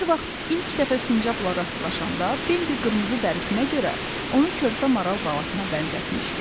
Bir vaxt ilk dəfə sincabla rastlaşanda Bembi qırmızı dərisinə görə onu körpə maral balasına bənzətmişdi.